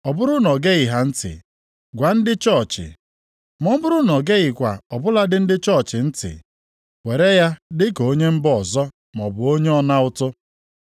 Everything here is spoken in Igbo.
Ọ bụrụ na o geghị ha ntị, gwa ndị chọọchị, ma ọ bụrụ na o geghịkwa ọ bụladị ndị chọọchị ntị, were ya dị ka onye mba ọzọ maọbụ onye ọna ụtụ.